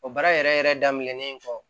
O baara yɛrɛ yɛrɛ daminɛnen kɔ